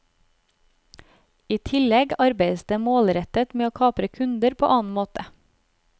I tillegg arbeides det målrettet med å kapre kunder på annen måte.